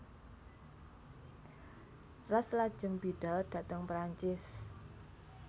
Ras lajeng bidhal dhateng Prancis